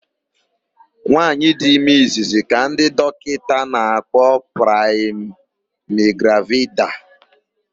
Nwaanyị dị ime izizzi ka ndị dọkịta na-akpọ praịmigravida.